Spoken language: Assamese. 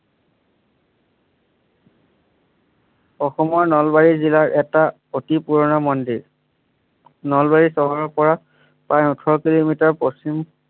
অসমৰ নলবাৰী জিলাৰ এটা অতি পুৰণা মন্দিৰ নলবাৰী চহৰৰ পৰা প্ৰায় ওঁঠৰ কিলোমিটাৰ পশ্চিম